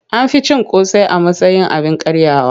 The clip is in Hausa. An fi cin akara a matsayin abin karyawa.